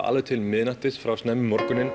alveg til miðnættis frá